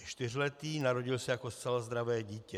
Je čtyřletý, narodil se jako zcela zdravé dítě.